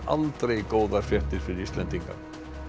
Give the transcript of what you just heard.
aldrei góðar fréttir fyrir Íslendinga